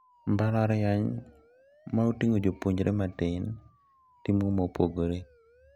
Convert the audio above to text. Mbalariany ma oting`o jopuonjre matin timo mopogore.